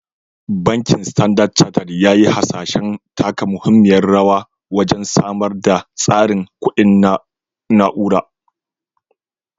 Bankin Standard Chartered ya yi hasashen taka muhimmiyar rawa wajen samar da tsarin kuɗi na na'ura.